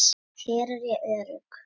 Hér er ég örugg.